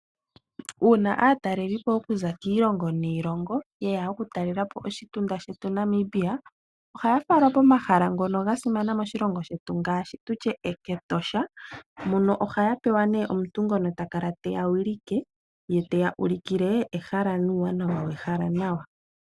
Uuna aataleli po okuza kiilongo niilongo yeya oku talela po oshitunda shetu Namibia ohaya falwa pomahala ngono ga simana moshilongo shetu ngaashi tutye kEtosha, mono ohaya pewa nee omuntu ngono ta kala te ya wilike, ye te ya ulikile ehala nuuwanawa wehala nawa.